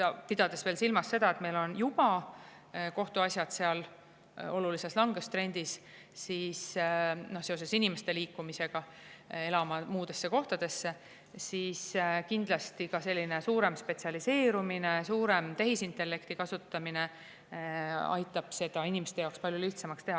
Pidades veel silmas seda, et meil on seal juba kohtuasjad olulises langustrendis seoses inimeste liikumisega elama muudesse kohtadesse, aitab kindlasti suurem spetsialiseerumine, suurem tehisintellekti kasutamine inimeste jaoks palju lihtsamaks teha.